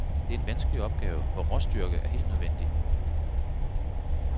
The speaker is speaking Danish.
Det er en vanskelig opgave, hvor råstyrke er helt nødvendig.